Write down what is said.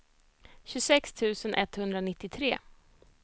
tjugosex tusen etthundranittiotre